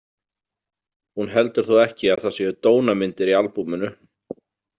Hún heldur þó ekki að það séu dónamyndir í albúminu?